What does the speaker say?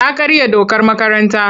Ta karya dokar makaranta.